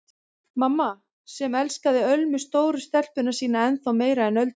Mamma sem elskaði Ölmu stóru stelpuna sína ennþá meira en Öldu.